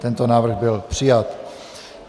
Tento návrh byl přijat.